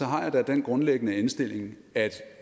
har jeg da den grundlæggende indstilling at